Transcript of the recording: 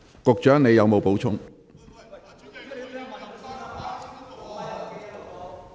局長，你有否補充？